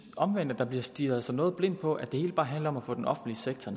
omvendt at man stirrer sig noget blind på at det hele bare handler om at få den offentlige sektor